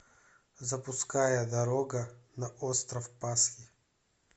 запускай дорога на остров пасхи